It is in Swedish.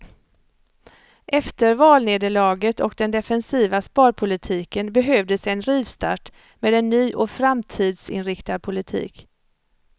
Efter valnederlaget och den defensiva sparpolitiken behövdes en rivstart med en ny och framtidsinriktad politik.